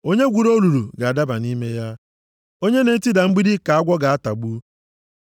Onye gwuru olulu ga-adaba nʼime ya! Onye na-etida mgbidi ka agwọ ga-atagbu.